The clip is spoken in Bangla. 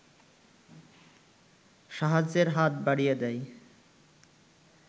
সাহায্যের হাত বাড়িয়ে দেয়